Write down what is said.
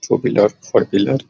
to wheeler four wheeler --